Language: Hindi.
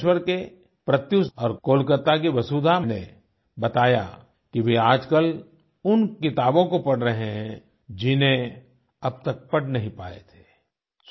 भुवनेश्वर के प्रत्यूष और कोलकाता की वसुधा ने बताया कि वे आजकल उन किताबों को पढ़ रहे है जिन्हें अब तक पढ़ नहीं पाए थे